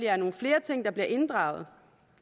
er nogle flere ting der bliver inddraget